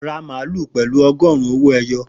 Ra màálù pẹ̀lú ọgọrun owó ẹyọ